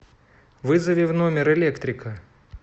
вызови в номер электрика